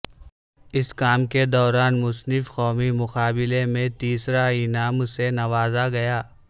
اس کام کے دوران مصنف قومی مقابلے میں تیسرا انعام سے نوازا گیا